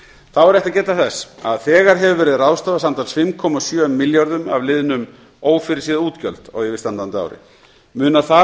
þá er rétt að geta þess að þegar hefur verið ráðstafað samtals fimm komma sjö milljörðum af liðnum ófyrirséð útgjöld á yfirstandandi ári munar þar